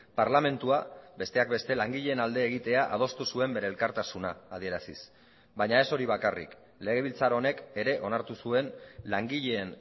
parlamentua besteak beste langileen alde egitea adostu zuen bere elkartasuna adieraziz baina ez hori bakarrik legebiltzar honek ere onartu zuen langileen